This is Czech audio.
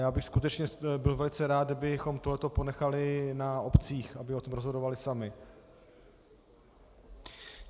Já bych skutečně byl velice rád, abychom tohle ponechali na obcích, aby o tom rozhodovaly samy.